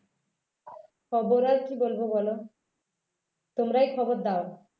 খবর আর কী বলব বলো তোমরাই খবর দাও